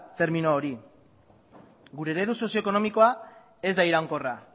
termino hori gure eredu sozio ekonomikoa ez da iraunkorra